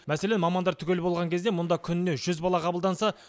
мәселен мамандар түгел болған кезде мұнда күніне жүз бала қабылданса